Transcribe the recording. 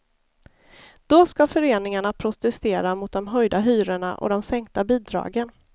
Då skall föreningarna protestera mot de höjda hyrorna och de sänkta bidragen.